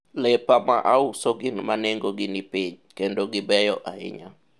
lepa ma auso gin ma nengo gi ni piny kendo gibeyo ahinya